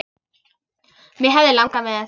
Mig hefði langað með.